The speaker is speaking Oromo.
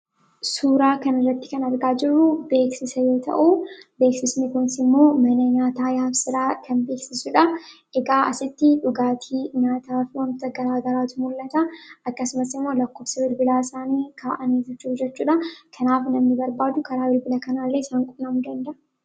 Suuraa kanaa gadii irratti kan argamu beeksisaa dha. Beeksisni kunis immoo mana nyaataa Yaabsiraa kan beeksisuu dha. Akkasumas bakka kanatti dhugaatii fi nyaanni addaa addaa kan daldalamuu fi karaa bilbila isaanii akka qunnamaniif bilbilli isaanii maxxanfamee kan jiruu dha.